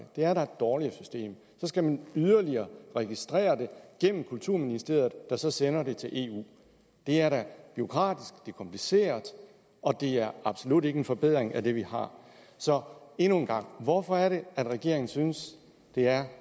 det er da et dårligere system så skal man yderligere registrere det igennem kulturministeriet der så sender det til eu det er da bureaukratisk det er kompliceret og det er absolut ikke en forbedring af det vi har så endnu en gang hvorfor er det at regeringen synes det er